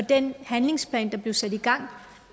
den handlingsplan der blev sat i gang